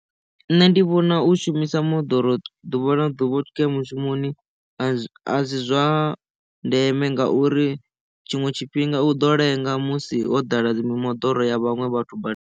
Nṋe ndi vhona u shumisa moḓoro ḓuvha na ḓuvha u tshi khou ya mushumoni a zwi zwa ndeme ngauri tshiṅwe tshifhinga u ḓo lenga musi ho ḓala dzi mimoḓoro ya vhaṅwe vhathu badani.